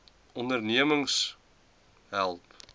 onderneming kmmo help